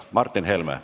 Martin Helme.